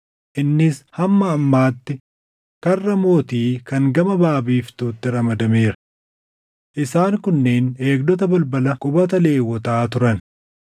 innis hamma ammaatti Karra Mootii kan gama baʼaa biiftuutti ramadameera. Isaan kunneen eegdota balbala qubata Lewwotaa turan.